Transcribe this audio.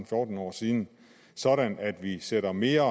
fjorten år siden sådan at vi nu sætter mere